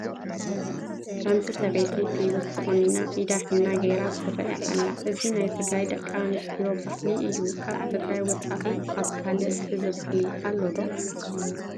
ሓንቲ ሰበይቲ ግልብጭ ተቖኒና ኢዳ ሒና ገይራ ትርአ ኣላ፡፡ እዚ ናይ ትግራይ ደቂ ኣንስትዮ ባህሊ እዩ፡፡ ካብ ትግራይ ወፃኢ ኣብ ካልእ እዚ ባህሊ ኣሎ ዶ?